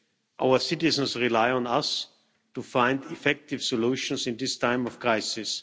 Our citizens rely on us to find effective solutions in this time of crisis.